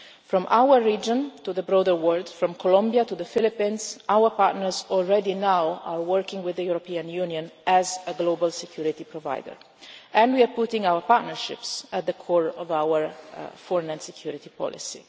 that. From our region to the broader world, from Colombia to the Philippines, our partners are working already now with the European Union as a global security provider, and we are putting our partnerships at the core of our foreign and security policy.